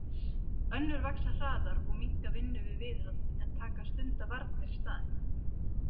Önnur vaxa hraðar og minnka vinnu við viðhald en taka að stunda varnir í staðinn.